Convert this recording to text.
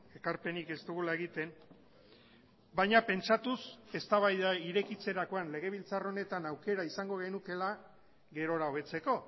ekarpenik ez dugula egiten baina pentsatuz eztabaida irekitzerakoan legebiltzar honetan aukera izango genukeela gerora hobetzeko